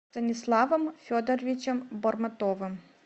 станиславом федоровичем бормотовым